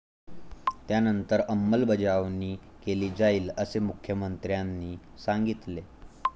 त्यानंतर अंमलबजावणी केली जाईल, असे मुख्यमंत्र्यांनी सांगितले.